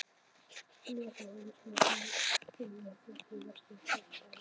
Hann var þá, eins og nú, þingmaður flokksins í Vesturlandskjördæmi.